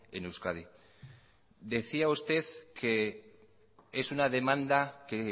en euskadi decía usted que es una demanda que